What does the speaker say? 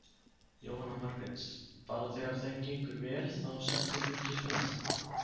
Jóhanna Margrét: Bara þegar þeim gengur vel þá sem þú fylgist með?